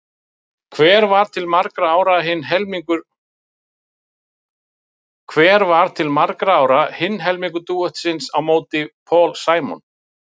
Hver var til margra ára hinn helmingur dúetts á móti Paul Simon?